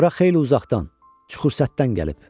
Bura xeyli uzaqdan, Xaçurşətdən gəlib.